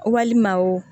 Walima wo